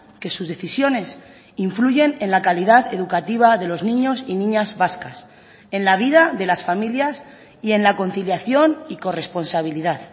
que sus decisiones influyen en la calidad educativa de los niños y niñas vascas en la vida de las familias y en la conciliación y corresponsabilidad